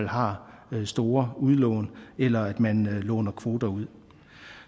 har store udlån eller at man låner kvoter ud